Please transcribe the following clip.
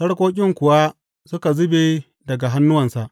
Sarƙoƙin kuwa suka zube daga hannuwansa.